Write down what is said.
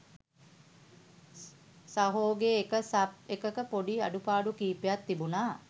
සහෝගෙ එක සබ් එකක පොඩි අඩුපාඩු කිහිපයක් තිබුණ